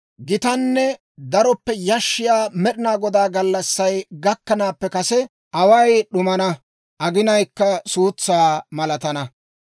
Gitanne daroppe yashshiyaa Med'inaa Godaa gallassay gakkanaappe kase away d'umana; aginayikka suutsaa malatana.